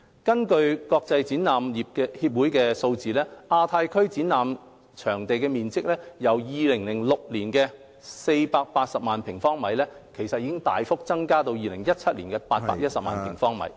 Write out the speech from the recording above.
根據國際展覽業協會的數字，亞太區展覽場地面積，由2006年的480萬平方米，大幅增加至2017年810萬平方米......